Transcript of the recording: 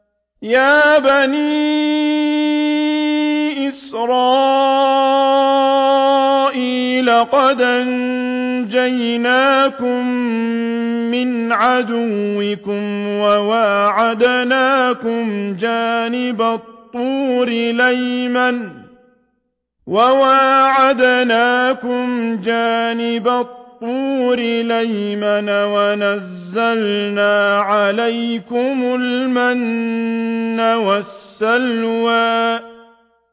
يَا بَنِي إِسْرَائِيلَ قَدْ أَنجَيْنَاكُم مِّنْ عَدُوِّكُمْ وَوَاعَدْنَاكُمْ جَانِبَ الطُّورِ الْأَيْمَنَ وَنَزَّلْنَا عَلَيْكُمُ الْمَنَّ وَالسَّلْوَىٰ